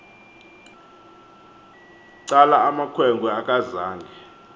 cala amakhwenkwe akazange